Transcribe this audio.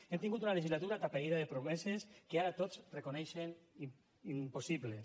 hem tingut una legislatura atapeïda de promeses que ara tots reconeixen impossibles